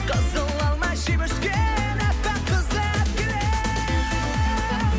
қызыл алма жеп өскен аппақ қызды алып келемін